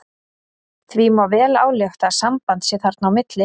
Því má vel álykta að samband sé þarna á milli.